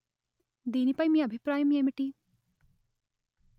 దీని పై మీ అభిప్రాయం ఏమిటి